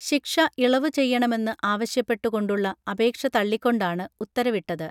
ശിക്ഷ ഇളവു ചെയ്യണമെന്ന് ആവശ്യപ്പെട്ടു കൊണ്ടുള്ള അപേക്ഷ തള്ളിക്കൊണ്ടാണ് ഉത്തരവിട്ടത്